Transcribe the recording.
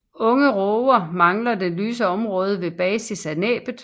Unge råger mangler det lyse område ved basis af næbbet